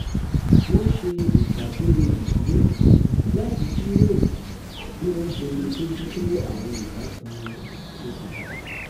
wọ́n ṣe ìpàdé ìdílé láti jíròrò bí wọ́n ṣe lè bójú tó àwọn ìbátan wọn tó ti dàgbà